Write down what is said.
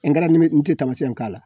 Ngalamini n tɛ taamasiyɛn k'a la.